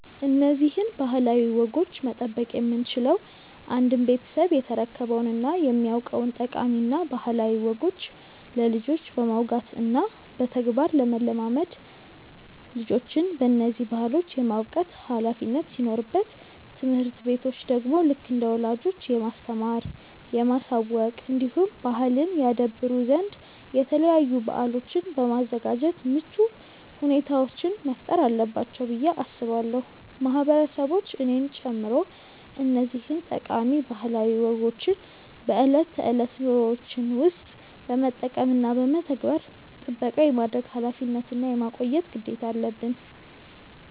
እነዚህን ባህላዊ ወጎች መጠበቅ የምንችለው አንድም ቤተሰብ የተረከበውን እና የሚያውቀውን ጠቃሚ እና ባህላዊ ወጎች ለልጆች በማውጋት እና በተግባር ለማለማመድ ልጆችን በነዚህ ባህሎች የማብቃት ኃላፊነት ሲኖርበት ትምህርት ቤቶች ደግሞ ልክ እንደ ወላጆች የማስተማር፣ የማሳወቅ እንዲሁም ባህልን ያደብሩ ዘንድ የተለያዩ በአሎችን በማዘጋጃት ምቹ ሁኔታዎችን መፍጠር አለባቸው ብዬ አስባለው። ማህበረሰቦች እኔን ጨምሮ እነዚህን ጠቃሚ ባህላዊ ወጎችን በእለት ተእለት ኑሮዎችን ውስጥ በመጠቀም እና በመተግበር ጥበቃ የማድረግ ኃላፊነት እና የማቆየት ግዴታ አለበን።